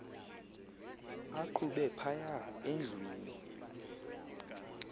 aqhube phaya endlwini